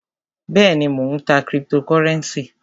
Bẹ́èni, Mó ń tá criptocurenci.